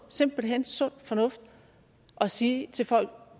simpelt hen sund fornuft at sige til folk